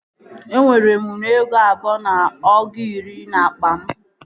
E nwere m nnu ego abụọ na ọgụ iri n'akpa m